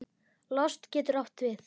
Lost getur átt við